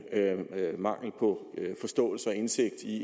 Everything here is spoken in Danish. mangel på forståelse og indsigt i